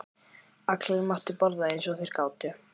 Allir máttu borða eins og þeir gátu.